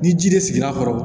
Ni ji de sigir'a kɔrɔ